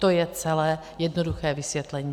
To je celé jednoduché vysvětlení.